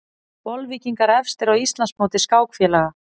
Bolvíkingar efstir á Íslandsmóti skákfélaga